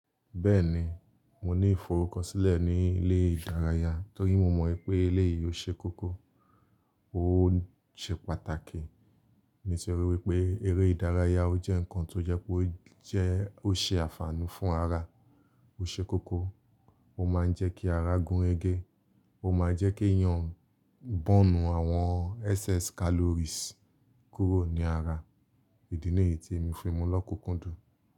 Bẹ́ẹ̀ni, mo ní ìfọ̀rùkọ̀ṣílẹ̀ ní ilẹ̀ ìdáràyà torí mọ̀ mọ̀ pé ilẹ̀ yìí ó ṣe kókó, ó ṣe pàtàkì ní sẹ̀rí wípé eré ìdáràyà ó jẹ́ nǹkan tó jẹ́ pé ó ṣe ànfàní fún ara, ó ṣe kókó, ó máa ń jẹ́ kí ara gúnrégé, ó máa ń jẹ́ kí eeyàn bọ̀nù àwọn excess calories kúrò ní ara, ìdí nìyí tí èmi fi mú lọ́kùnkúndùn.